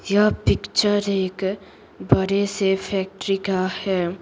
यह पिक्चर एक बड़े से फैक्ट्री का है।